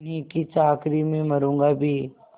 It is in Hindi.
उन्हीं की चाकरी में मरुँगा भी